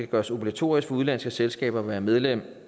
gøres obligatorisk for udenlandske selskaber at være medlem